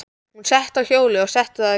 Hún settist á hjólið og setti það í gang.